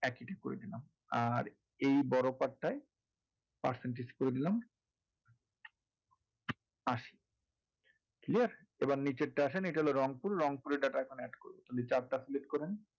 আর এই বড় part টায় percentage করে দিলাম আশি দিয়ে এবারে নীচে এটা হল রংপুর এর data collect করবো তাহলে chart টা select করেন।